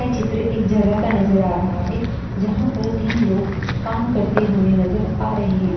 यह चित्र एक जगह का नज़र आ रहा है जहाँ पर तीन लोग काम करते हुए नज़र आ रहे है।